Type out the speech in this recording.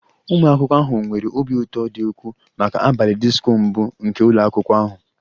Ụmụ akwụkwọ ahụ nwere obi ụtọ dị ukwuu maka abalị disko mbụ nke ụlọ akwụkwọ ahụ